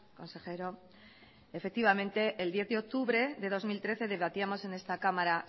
consejero efectivamente el diez de octubre de dos mil trece debatíamos en esta cámara